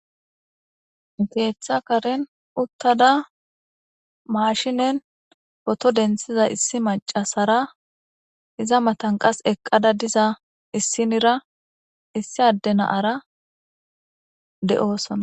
Keeththa karen uttadda mashshinen potto denththiza issi macassara iza matan qas eqqada diza issinirra issi adde na'ara de'ossona